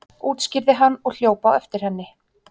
útskýrði hann og hljóp á eftir henni.